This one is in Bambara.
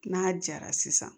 N'a jara sisan